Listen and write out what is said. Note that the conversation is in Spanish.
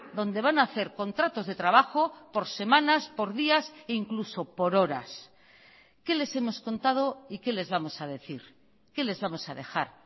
donde van a hacer contratos de trabajo por semanas por días e incluso por horas qué les hemos contado y qué les vamos a decir qué les vamos a dejar